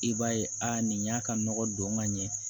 I b'a ye a nin y'a ka nɔgɔ don ka ɲɛ